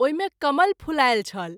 ओहि मे कमल फूलायल छल।